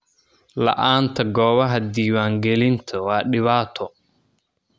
La'aanta goobaha diiwaangelinta waa dhibaato.